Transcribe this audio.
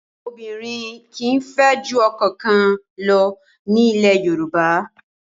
Obìnrin kì í fẹ́ ju ọkọ kan lọ ní ilẹ̀ Yorùbá.